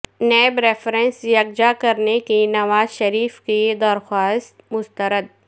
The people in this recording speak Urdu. نیب ریفرنس یکجا کرنے کی نواز شریف کی درخواست مسترد